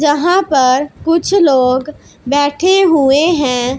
जहां पर कुछ लोग बैठे हुए हैं।